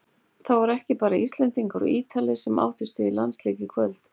Það voru ekki bara Íslendingar og Ítalir sem áttust við í landsleik í kvöld.